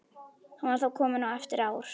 Hann var þá kominn á efri ár.